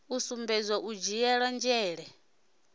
u sumbedza u dzhiele nzhele